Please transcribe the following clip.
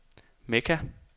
Mekka